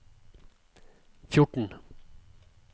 fjorten